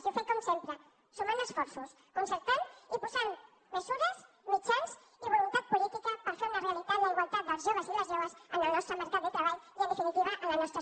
i ho fem com sempre sumant esforços concertant i posant mesures mitjans i voluntat política per fer una realitat la igualtat dels joves i les joves en el nostre mercat de treball i en definitiva a la nostra societat